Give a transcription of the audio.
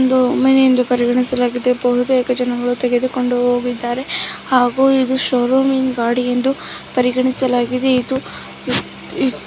ಇದು ಒಂದು ಮನೆ ಎಂದು ಪರಿಗಣಿಸಲಾಗಿದೆ ಬಹುತೇಕ ಜನರು ತೆಗೆದುಕೊಂಡು ಹೋಗಿದ್ದಾರೆ ಹಾಗು ಇದು ಶೊರುಮಿಂದ ಗಾಡಿ ಎಂದು ಪರಿಗಣಿಸಲಾಗಿದೆ ಇದು .